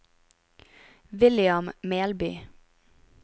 William Melby